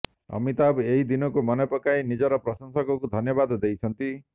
ଅମିତାଭ ଏହି ଦିନକୁ ମନେପକାଇ ନିଜର ପ୍ରଶଂସକଙ୍କୁ ଧନ୍ୟବାଦ ଦେଇଛନ୍ତି